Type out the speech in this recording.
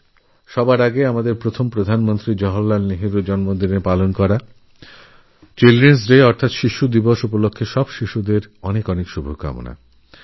সবার আগে সমস্ত বাচ্চাদের জানাই আমাদের প্রথম প্রধানমন্ত্রী জওহরলালনেহরুর জন্মদিন উপলক্ষে উদ্যাপিত শিশু দিবসএর অনেক অনেক শুভেচ্ছা